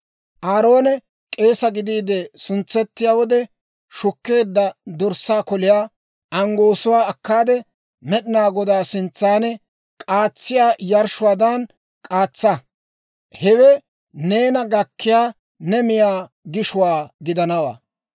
Aaroone k'eesa gidiide suntsettiyaa wode shukkeedda dorssaa koliyaa anggoosuwaa akkaade, Med'inaa Godaa sintsan k'aatsiyaa yarshshuwaadan k'aatsaa; hewe neena gakkiyaa ne miyaa gishuwaa gidanawaa.